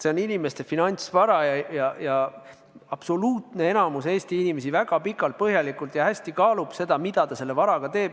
See on inimeste finantsvara ja absoluutne enamik Eesti inimesi väga pikalt ja põhjalikult kaalub, mida ta selle varaga teeb.